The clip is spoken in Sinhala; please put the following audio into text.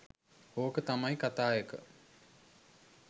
ඕක තමයි කතාඑක.